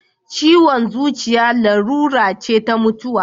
Ciwon zuciya larura ce ta mutuwa.